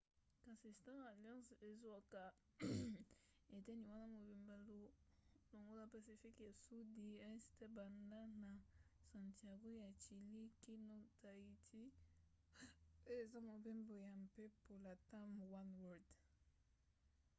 kasi star alliance ezwaka eteni wana mobimba longola pacifique ya sudi este banda na santiago ya chilie kino tahiti oyo eza mobembo ya mpepo latam oneworld